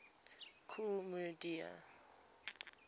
kool moe dee